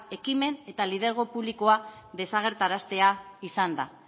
ekimen eta lidergo publikoa desagerraraztea izan da